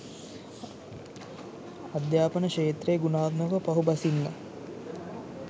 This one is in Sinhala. අධ්‍යාපන ක්ෂේත්‍රය ගුණාත්මකව පහු බසින්න